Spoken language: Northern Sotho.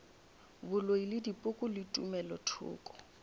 boloi le dipoko le tumelothoko